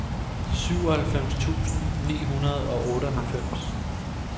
syvoghalvfems tusind ni hundrede og otteoghalvfems